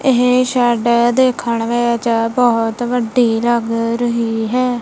ਇਹ ਸ਼ੈਡ ਦੇਖਣ ਵਿੱਚ ਬਹੁਤ ਵੱਡੀ ਲੱਗ ਰਹੀ ਹੈ।